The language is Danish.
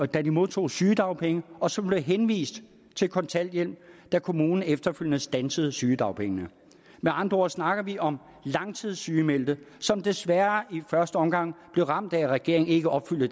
da de modtog sygedagpenge og som blev henvist til kontanthjælp da kommunen efterfølgende standsede sygedagpengene med andre ord snakker vi om langtidssygemeldte som desværre i første omgang blev ramt af at regeringen ikke opfyldte